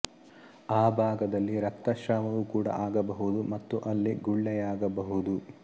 ಆ ಭಾಗದಲ್ಲಿ ರಕ್ತಸ್ರಾವವೂ ಕೂಡ ಆಗಬಹುದು ಮತ್ತು ಅಲ್ಲಿ ಗುಳ್ಳೆಯಾಗಬಹುದು